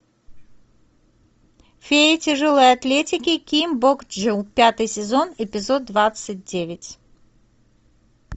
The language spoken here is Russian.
фея тяжелой атлетики ким бок чжу пятый сезон эпизод двадцать девять